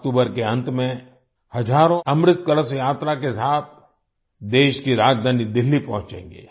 अक्टूबर के अंत में हजारों अमृत कलश यात्रा के साथ देश की राजधानी दिल्ली पहुँचेंगे